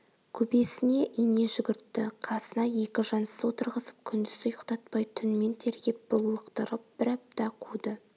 көбесіне ине жүгіртті қасына екі жансыз отырғызып күндіз ұйықтатпай түнмен тергеп бұрлықтырып бір апта қуды